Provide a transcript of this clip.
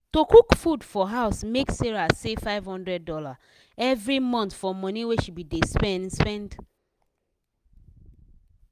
to cook food for house make sarah save five hundred dollars every month for money wey she be dey spend. spend.